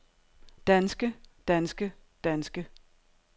danske danske danske